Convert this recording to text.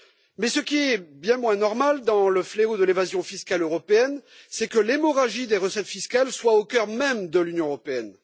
Mais ce qui est bien moins normal dans le fléau de l'évasion fiscale européenne, c'est que l'hémorragie des recettes fiscales soit au cœur même de l'Union européenne.